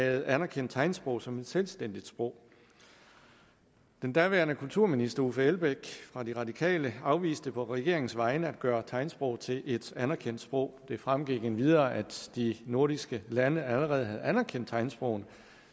havde anerkendt tegnsprog som et selvstændigt sprog den daværende kulturminister herre uffe elbæk fra de radikale afviste på regeringens vegne at gøre tegnsprog til et anerkendt sprog det fremgik endvidere at de nordiske lande allerede havde anerkendt tegnsprog